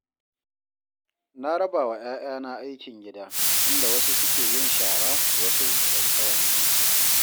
Na raba wa 'ya'yana aikin gida, inda wasu suke yin shara, wasu wanke-wanke